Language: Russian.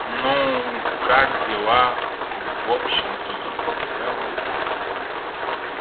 ну как дела в общем ии целом